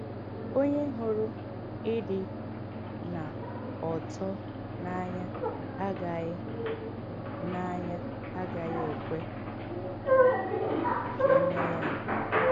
Onye hụrụ ịdị n’ọ̀tọ̀ n’anya agaghị n’anya agaghị ekwe ka e mee ya mpụ.